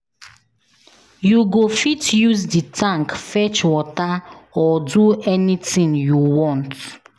You go fit use the tank fetch water or do anything you want